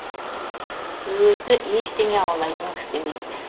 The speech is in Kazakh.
өзі ештеңе аулайтын кісі емес